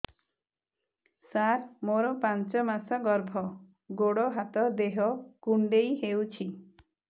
ସାର ମୋର ପାଞ୍ଚ ମାସ ଗର୍ଭ ଗୋଡ ହାତ ଦେହ କୁଣ୍ଡେଇ ହେଉଛି